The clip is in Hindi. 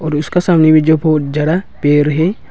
और उसका सामने भी जो बहुत ज्यारा पेर हैं।